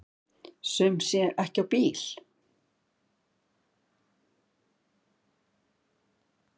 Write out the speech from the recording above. Sum sé ekki á bíl.